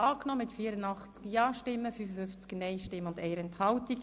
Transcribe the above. Sie haben Ziffer 2 der Motion angenommen.